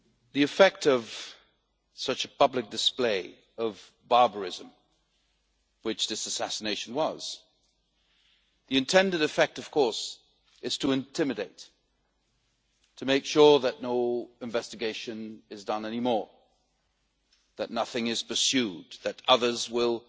The effect of such a public display of barbarism which this assassination was the intended effect, of course, is to intimidate, to make sure that no investigation is carried out any more, that nothing is pursued, that others will